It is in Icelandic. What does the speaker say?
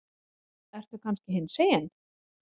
Ertu kannski hinsegin?